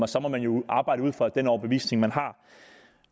så må man jo arbejde ud fra den overbevisning man har